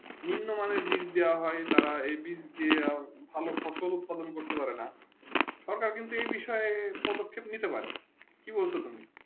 নিম্ন মানে বীজ দিয়া হয়ে তারা এই বীজ দিয়ে তারা এই বীজ দিয়ে ভালো ফসল উৎপাদন করতে পারে না সরকার কিন্তু এই বিষয়ে পদক্যে নিতে পারে কি বলছো তুমি